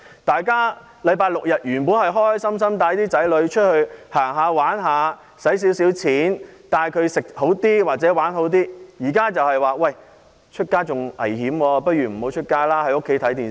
大家在星期六日本來開開心心，可以帶子女出外遊玩消費，吃喝玩樂，但現時外出相當危險，倒不如留在家裏看電視。